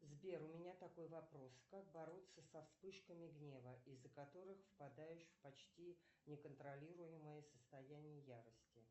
сбер у меня такой вопрос как бороться со вспышками гнева из за которых впадаешь в почти неконтролируемое состояние ярости